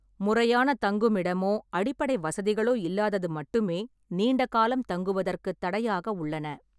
முறையான தங்குமிடமோ அடிப்படை வசதிகளோ இல்லாதது மட்டுமே நீண்ட காலம் தங்குவதற்குத் தடையாக உள்ளன.